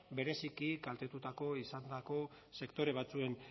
bereziki kaltetutako izandako sektore batzuen